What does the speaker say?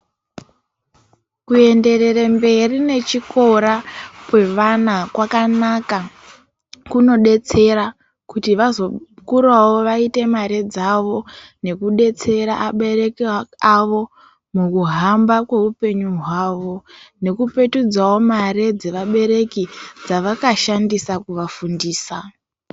Kuenderere mberi nechkora kwevana kwakanaka kunodetsera kuti vazokurawo voite mare dzavo nekudetsera abereki avo mukuhamba kweupenyu hwavo nekupetudzawo mare dzeabereki dzavakashandisa kuvafundisa.